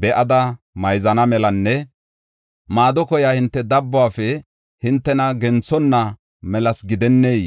be7ada mayzana melanne maado koyiya hinte dabbuwafe hintena genthonna melasa gidennee?